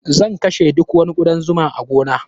Zan kashe duk wani ƙudan zuma a gona.